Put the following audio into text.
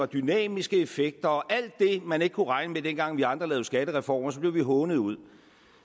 dynamiske effekter og alt det man ikke kunne regne med dengang vi andre lavede skattereformer blev vi hånet ud